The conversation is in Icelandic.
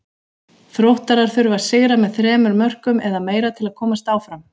Þróttarar þurfa að sigra með þremur mörkum eða meira til að komast áfram.